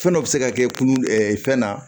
Fɛn dɔ bi se ka kɛ kulu fɛn na